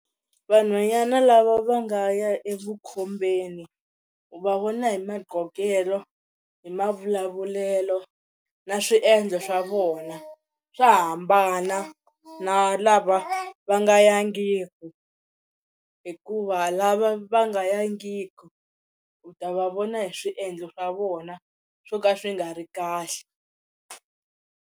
Vanhwanyana lava va nga ya evukhombeni u va vona hi maqhokelo hi mavulavulelo na swiendlo swa vona swa hambana na lava va nga yangiki hikuva lava va nga yangiki u ta va vona hi swiendlo swa vona swo ka swi nga ri kahle.